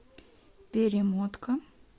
перемотка